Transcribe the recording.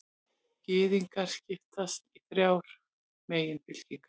Gyðingar skipast í þrjár meginfylkingar.